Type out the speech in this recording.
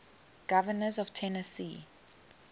governors of tennessee